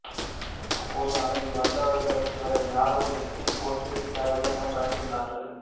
அப்போது அங்குவந்தவர்கள் இவரை யாரோ வெட்டிப் போட்டுவிட்டார்கள் என பயந்துள்ளார்கள்